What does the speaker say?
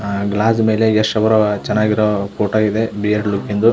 ಆ ಗ್ಲಾಸ್ ಮೇಲೆ ಯಶ್ ಅವರ ಚೆನ್ನಾಗಿರೋ ಫೋಟ್ ಇದೆ ಬಿಯರ್ಡ್ ಲುಕಿಂದು .